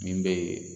Min bɛ